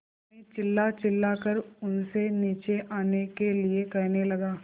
मैं चिल्लाचिल्लाकर उनसे नीचे आने के लिए कहने लगा